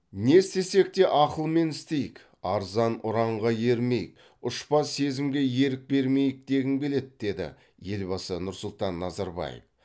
не істесек те ақылмен істейік арзан ұранға ермейік ұшпа сезімге ерік бермейік дегім келеді деді елбасы нұрсұлтан назарбаев